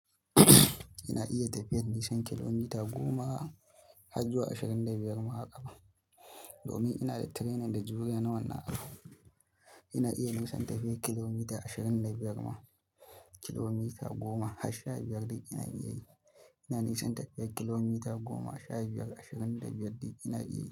Ina iya tafiyar nisan kilomita goma har zuwa ashirin da biyar ma haka ba. Domin ina da training da juriya nawa nnan. Ina iya nisan tafiyar kilomita ashirin da biyar ma. Kilomita goma har sha biyar duk ina iya yi. Ina nisan tafiyar kilomita goma, sha biyar, ashirin da biyar duk ina iya.